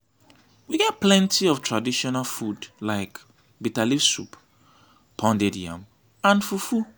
we get plenty of traditional food like biterleaves soup pounded yam and fufu.